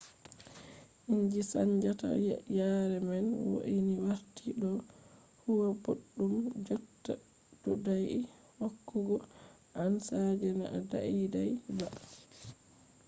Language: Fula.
inji chanjata yare man wo’ini warti ɗo huwa boɗɗum jotta ɗuɗai hokkugo ansa je na daidai ba